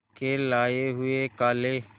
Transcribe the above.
के लाए हुए काले